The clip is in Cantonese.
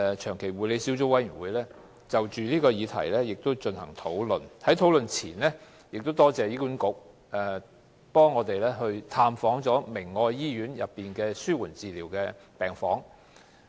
長期護理小組委員會剛就這項議題進行討論，而我亦感謝醫管局在討論前安排委員探訪明愛醫院的紓緩治療病房。